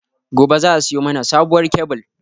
Gobe za a siyo mana sabuwar kyabil